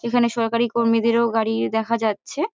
এখানে সরকারী কর্মীদেরও গাড়ি দেখা যাচ্ছে।